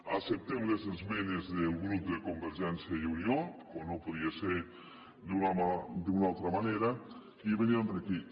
acceptem les esmenes del grup de convergència i unió com no podia ser d’una altra manera que vénen a enriquir